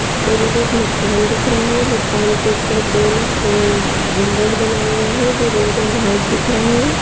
और इधर एक मकान दिख रहा है मकान के ऊपर गोल अम- गुंबज बना हुआ है जो रेड और व्हाइट दिख रहा है।